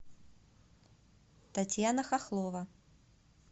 татьяна хохлова